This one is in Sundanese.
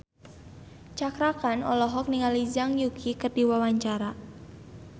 Cakra Khan olohok ningali Zhang Yuqi keur diwawancara